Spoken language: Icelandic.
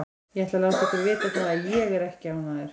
Ég ætla að láta ykkur vita það að ÉG er ekki ánægður.